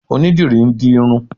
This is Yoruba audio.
Onídìrí ń di irun